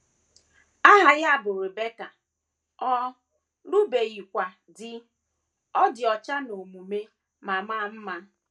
Aha ya bụ Rebeka, ọ lụbeghịkwa di, ọ dị ọcha n’omume ma maa mma.